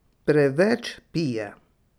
Preveč pije.